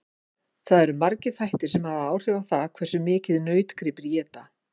Það eru margir þættir sem hafa áhrif á það hversu mikið nautgripir éta.